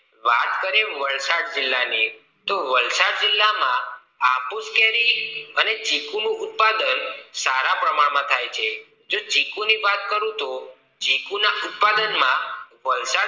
વાત કરી એ વલસાડ જિલ્લા ની તો વલસાડ જિલ્લામાં હાફૂસ કેરી અને ચીકુ નું ઉત્પાદન સારા પ્રમાણ માં થાય છે, જો ચીકુની વાત કરું તો ચીકુના ઉત્પાદન માં વલસાડ